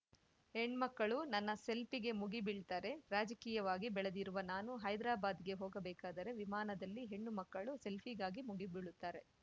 ಹೆಣ್ಮಕ್ಕಳು ನನ್ನ ಸೆಲ್ಫಿಗೆ ಮುಗಿಬೀಳ್ತಾರೆ ರಾಜಕೀಯವಾಗಿ ಬೆಳೆದಿರುವ ನಾನು ಹೈದ್ರಾಬಾದ್‌ಗೆ ಹೋಗಬೇಕಾದರೆ ವಿಮಾನದಲ್ಲಿ ಹೆಣ್ಣುಮಕ್ಕಳು ಸೆಲ್ಫಿಗಾಗಿ ಮುಗಿಬೀಳುತ್ತಾರೆ